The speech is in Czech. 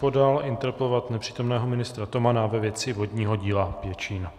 Podal interpelovat nepřítomného ministra Tomana ve věci vodního díla Pěčín.